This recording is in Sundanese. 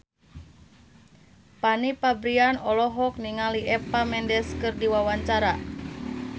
Fanny Fabriana olohok ningali Eva Mendes keur diwawancara